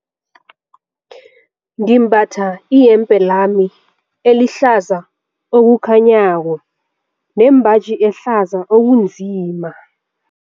Ngimbatha iyembe lami elihlaza okukhanyako nembaji ehlaza okunzima.